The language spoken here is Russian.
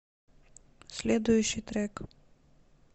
следующий трек